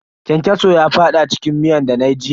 Kyankyaso ya fada cikin miyan dana yi jiya.